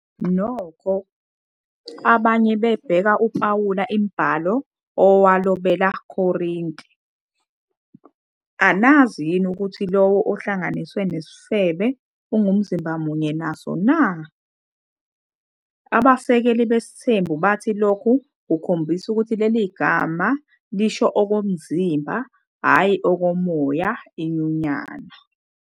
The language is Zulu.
Nokho, abanye bebheka uPawulu imibhalo awalobela Korinte - "Anazi yini ukuthi lowo ohlanganiswe nesifebe ungumzimba munye naso na? Abasekeli besithembu bathi lokhu kukhombisa ukuthi leli gama lisho okomzimba, hhayi okomoya inyunyana.